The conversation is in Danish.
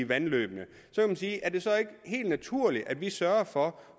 vandløbene er det så ikke helt naturligt at vi sørger for